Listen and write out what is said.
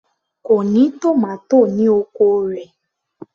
Kò ní tòmátò ní oko rẹ̀